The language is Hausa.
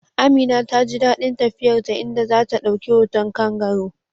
Amina ta ji dadin tafiyar ta, inda za ta dauki hoton kangaroo